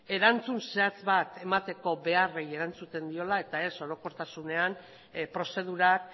erantzun zehatz bat emateko beharrei erantzuten diola eta ez orokortasunean prozedurak